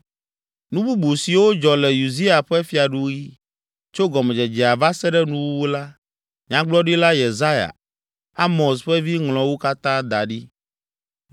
Nu bubu siwo dzɔ le Uzia ƒe fiaɖuɣi, tso gɔmedzedzea va se ɖe nuwuwu la, Nyagblɔdila Yesaya, Amoz ƒe vi ŋlɔ wo katã da ɖi.